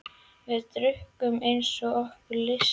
Við drukkum eins og okkur lysti.